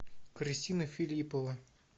кристина филиппова